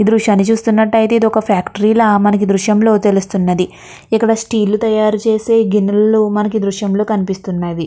ఈ దృశ్యాన్ని చూసినట్లయితే ఇది ఒక ఫ్యాక్టరీ లా మనకి దృశ్యంలో తెలుస్తున్నది. ఇక్కడ స్టీల్ తయారు చేస్తే గినులలు మనకీ దృశ్యంలో కనిపిస్తున్నది.